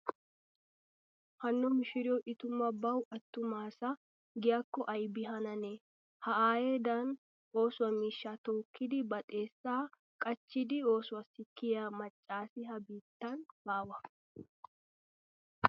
Hanno mishshiriyo i tumu bawu attuma asa giyaakko aybi hanane. Ha aayeedan ooso miishshaa tookkidi ba xeessaa qachchidi oosossi kiyaa macca asi ha'i biittan baawa.